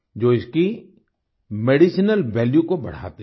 जो इसकी medicinal value को बढ़ाते हैं